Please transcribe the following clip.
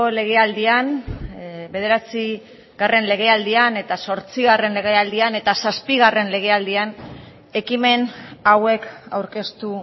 legealdian bederatzigarren legealdian zortzigarren legealdian eta zazpigarren legealdian ekimen hauek aurkeztu